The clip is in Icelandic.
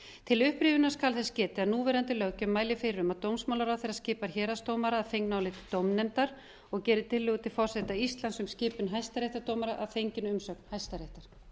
til upprifjunar skal þess getið að núverandi löggjöf mælir fyrir um að dómsmálaráðherra skipar héraðsdómara að fengnu áliti dómnefndar og gerir tillögu til forseta íslands um skipun hæstaréttardómara að fenginni umsögn hæstaréttar